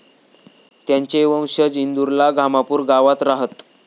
त्यांचे वंशज इंदूरला घामापूर गावात राहात.